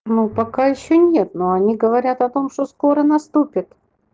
ну пока ещё нет но они говорят о том что скоро наступит